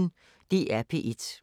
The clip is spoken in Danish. DR P1